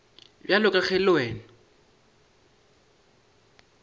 bjalo ka ge le wena